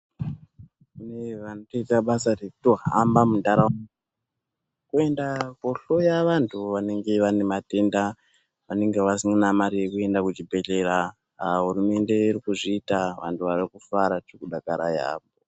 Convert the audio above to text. Kune vanotoita basa rekutohamba muntaraunda kuenda kuhloya vantu vanenge vane matenda vanenge vasina mare yekuenda kuchibhedhleya. Hurumende iri kuzviita tiri kufara kudakara yamho.